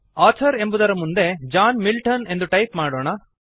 author ಎಂಬುದರ ಮುಂದೆ John Milton ಅಂತ ಟೈಪ್ ಮಾಡೋಣ